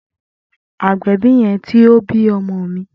Agbẹbi yẹn ti o bi ọmọ mi.